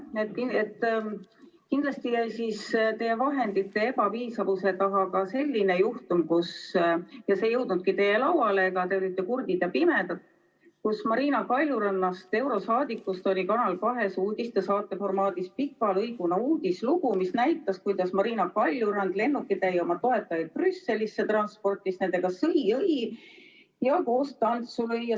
Kindlasti jäi vahendite ebapiisavuse taha ka selline juhtum – see ei jõudnudki teie lauale, te olite kurdid ja pimedad –, kui Marina Kaljurannast kui eurosaadikust oli Kanal 2 uudistesaate formaadis pikk uudislugu, mis näitas, kuidas Marina Kaljurand lennukitäie oma toetajaid Brüsselisse transportis, nendega sõi, jõi ja koos tantsu lõi.